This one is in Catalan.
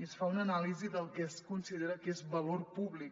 i es fa una anàlisi del que es considera que és valor públic